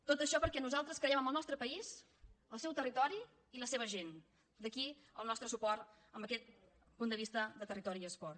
tot això perquè nosaltres creiem en el nostre país el seu territori i la seva gent per això el nostre suport amb aquest punt de vista de territori i esport